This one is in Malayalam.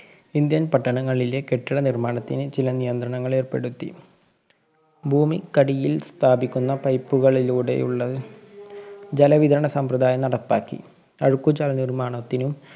ഇന്ത്യന്‍ പട്ടണങ്ങളിലെ കെട്ടിട നിര്‍മ്മാണത്തിന് ചില നിയന്ത്രണങ്ങള്‍ ഏര്‍പ്പെടുത്തി. ഭൂമിക്കടിയില്‍ സ്ഥാപിക്കുന്ന pipe കളിലൂടെയുള്ള ജലവിതരണ സമ്പ്രദായം നടപ്പാക്കി. അഴുക്കുചാല്‍ നിര്‍മ്മാണത്തിനും